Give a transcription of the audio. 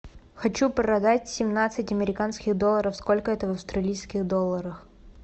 хочу продать семнадцать американских долларов сколько это в австралийских долларах